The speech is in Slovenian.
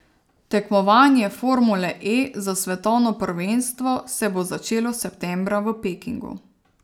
Tekmovanje formule E za svetovno prvenstvo se bo začelo septembra v Pekingu.